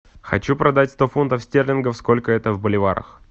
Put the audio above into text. хочу продать сто фунтов стерлингов сколько это в боливарах